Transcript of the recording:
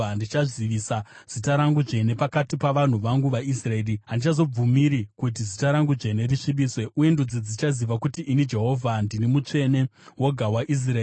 “ ‘Ndichazivisa zita rangu dzvene pakati pavanhu vangu vaIsraeri. Handichazobvumiri kuti zita rangu dzvene risvibiswe, uye ndudzi dzichaziva kuti ini Jehovha ndini mutsvene woga waIsraeri.